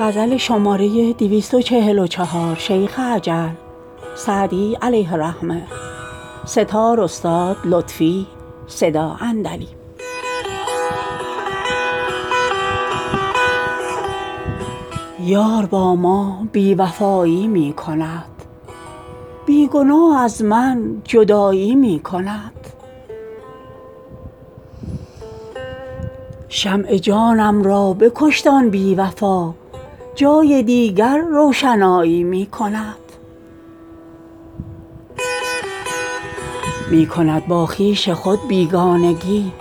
یار با ما بی وفایی می کند بی گناه از من جدایی می کند شمع جانم را بکشت آن بی وفا جای دیگر روشنایی می کند می کند با خویش خود بیگانگی